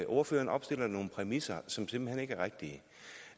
ordføreren opstiller nogle præmisser som simpelt hen ikke er rigtige